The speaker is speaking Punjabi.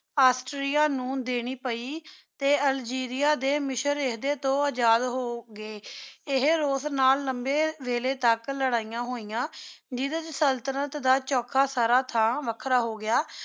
ਔਸ੍ਤੇਰਿਆ ਨੂ ਦੇਣੀ ਪਾਈ ਟੀ ਅਲ੍ਜੇਰਿਆ ਟੀ ਮਿਸ਼ੇਰ ਇਡੀ ਤੂ ਅਜਾਦ ਹੋ ਗਏ ਏਹੀ ਰੂਸ ਨਾਲ ਲੰਬੀ ਵੇਲੀ ਤਕ ਲਾਰੈਯਾਂ ਹੋਯਾ ਜਿਡੀ ਸੁਲ੍ਤ੍ਨਤ ਦਾ ਚੋਖਾ ਸਾਰਾ ਥਾਮ ਵਖਰਾ ਹੋ ਗਯਾ